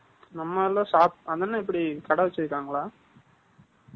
நம்ம எல்லாம் இப்படி, கடை வச்சிருக்காங்களா?